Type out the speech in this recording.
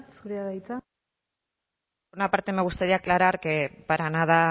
zurea da hitza por una parte me gustaría aclarar que para nada